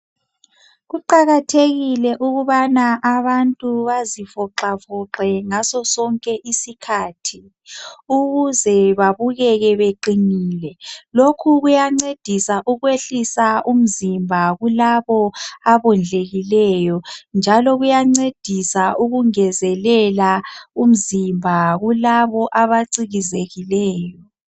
Kuqakathekile ukubana abantu bazivoxavoxe ngaso sonke isikhathi ukuze babukeke baqinile lokhu kuyancedisa ukuyehlisa umzimba kulabo abondlekileyo njalo kuyancedisa ukungezelela umzimba kulabo abacikezekileyo